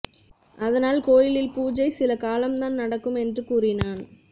அதனால் கோயிலில் பூஜை சில காலம்தான் நடக்கும் என்று கூறினான்